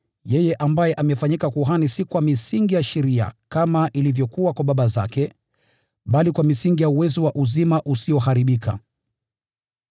yeye ambaye amefanyika kuhani si kwa misingi ya sheria kama ilivyokuwa kwa baba zake, bali kwa misingi ya uwezo wa uzima usioharibika.